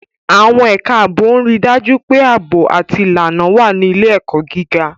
Àwọn ẹ̀ka ààbò ń rí i dájú pé ààbò àti ìlànà wà ní ilé-ẹ̀kọ́ gíga.